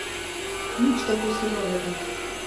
Nič tako surovega.